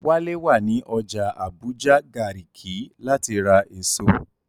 Wálé wà ní ọjà Àbújá Gàrìkí láti ra èso